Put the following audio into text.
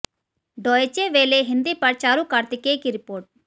Deutsche Welle Hindi पर चारु कार्तिकेय की report